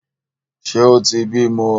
Ṣe o tí bímọ?